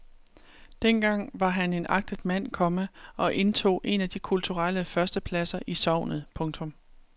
Dengang var han en agtet mand, komma og indtog en af de kulturelle førstepladser i sognet. punktum